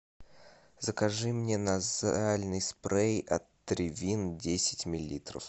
закажи мне назальный спрей отривин десять миллилитров